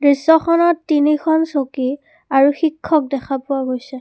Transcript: দৃশ্যখনত তিনিখন চকী আৰু শিক্ষক দেখা পোৱা গৈছে।